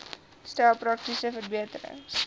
stel praktiese verbeterings